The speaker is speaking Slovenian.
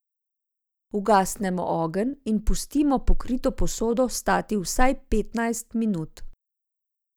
Ugasnemo ogenj in pustimo pokrito posodo stati vsaj petnajst minut.